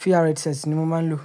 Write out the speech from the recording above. VR headset ni mo máa ń lò.